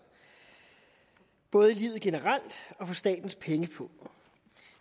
både i livet generelt og for statens pengepung